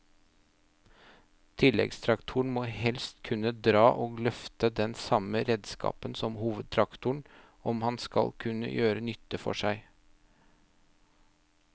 Tilleggstraktoren må helst kunne dra og løfte den samme redskapen som hovedtraktoren om han skal gjøre nytte for seg.